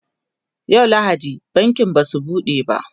yau lahadi bankin Basu buɗe ba